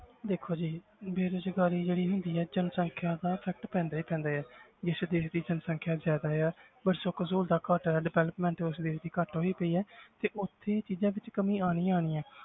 ਦੇਖੋ ਜੀ ਬੇਰੁਜ਼ਗਾਰੀ ਜਿਹੜੀ ਹੈਗੀ ਹੈ ਜਨਸੰਖਿਆ ਦਾ ਇਫ਼ੈਕਟ ਪੈਂਦਾ ਹੀ ਪੈਂਦਾ ਹੈ ਜਿਸ ਦੇਸ ਦੀ ਜਨਸੰਖਿਆ ਜ਼ਿਆਦਾ ਆ ਪਰ ਸੁੱਖ ਸਹੂਲਤਾਂ ਘੱਟ ਹੈ development ਉਸ ਦੇਸ ਦੀ ਘੱਟ ਹੋਈ ਪਈ ਹੈ ਤੇ ਉੱਥੇ ਇਹ ਚੀਜ਼ਾਂ ਵਿੱਚ ਕਮੀ ਆਉਣੀ ਆਉਣੀ ਹੈ